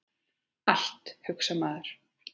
Allt, hugsar maður.